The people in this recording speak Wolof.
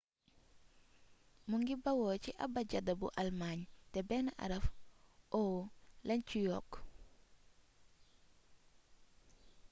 mu ngi bawoo ci abajada bu almaañ te benn araf õ/õ lañ ci yokk